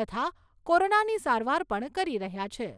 તથા કોરોનાની સારવાર પણ કરી રહ્યા છે.